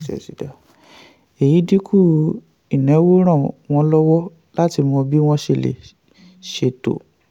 èyí dínkù ìnáwó ràn wọ́n lọ́wọ́ láti mọ bí wọ́n ṣe lè ṣètò.